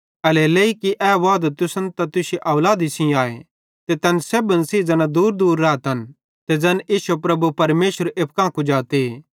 एल्हेरेलेइ कि ए वादो तुसन त तुश्शी औलादी सेइं आए ते तैन सेब्भन सेइं ज़ैना दूरदूर रातन ते ज़ैन इश्शो प्रभु परमेशरे एप्पू कां कुजाते